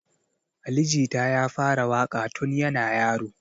Ali jita ya fara waƙa tun yana yaro